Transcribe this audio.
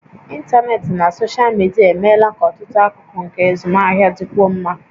Ịntanetị na soshal midia emeela ka ọtụtụ akụkụ nke azụmahịa dịkwuo mma